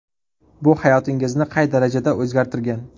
Bu hayotingizni qay darajada o‘zgartirgan?